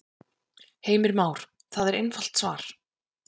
Heimir Már: Það er einfalt svar?